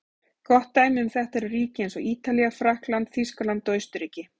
Gott dæmi um þetta eru ríki eins og Ítalía, Frakkland, Þýskaland og Austurríki.